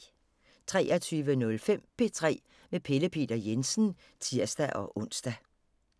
23:05: P3 med Pelle Peter Jensen (tir-ons)